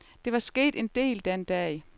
Der var sket en del den dag.